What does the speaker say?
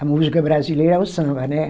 A música brasileira é o samba, né?